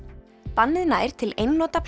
bannið nær til einnota